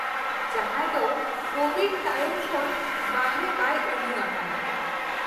ᱡᱟᱦᱟᱸᱭ ᱫᱚ ᱠᱳᱵᱷᱤᱰ ᱛᱟᱭᱚᱢ ᱠᱷᱚᱱ ᱵᱟᱨᱦᱮ ᱵᱟᱭ ᱚᱰᱩᱠ ᱟᱠᱟᱱᱟ ᱾